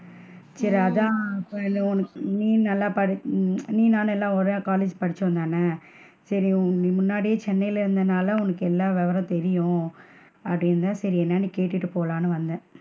சரி அதான் உன் நீ நல்லா உம் நீ நான் எல்லா ஒரே college படிச்சோம் தான, சரி முன்னாடியே நீ சென்னைல இருந்தனால உனக்கு எல்லா விவரமுமே தெரியும் அப்படின்னு சரி என்னான்னு கேட்டு போலாம்னு வந்தேன்.